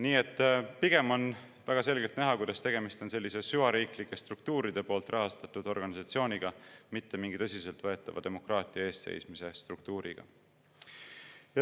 Nii et pigem on väga selgelt näha, kuidas tegemist on süvariiklike struktuuride poolt rahastatud organisatsiooniga, mitte mingi tõsiselt võetava demokraatia eest seismise struktuuriga.